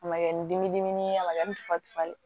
A ma kɛ ni dimi dimi ye a ma kɛ ni fasalen